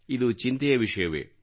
ಇದು ಚಿಂತೆಯ ವಿಷಯವೇ